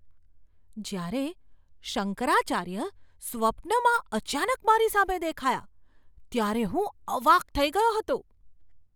જ્યારે શંકરાચાર્ય સ્વપ્નમાં અચાનક મારી સામે દેખાયા ત્યારે હું અવાક થઈ ગયો હતો.